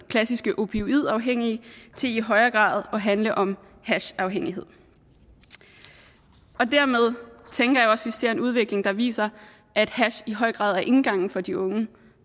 klassisk opioidafhængighed til i højere grad at handle om hashafhængighed og dermed tænker jeg også at vi ser en udvikling der viser at hash i høj grad er indgangen for de unge